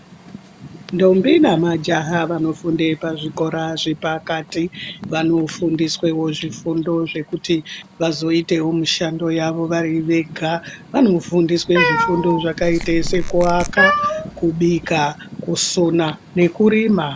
Ndombi namajaha vanofunde pazvikora zvepakati vanofundiswewo zvifundo zvekuti vazoitawo mishando yavo vari vega vanofundiswe zvifundo zvakaite sekuaka ,kubika ,kusona nekurima.